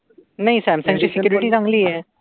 नाही. सॅमसंगची सेक्युरेटी चांगली आहे.